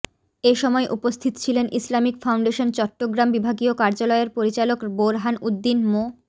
এ সময় উপস্থিত ছিলেন ইসলামিক ফাউন্ডেশন চট্টগ্রাম বিভাগীয় কার্যালয়ের পরিচালক বোরহান উদ্দিন মো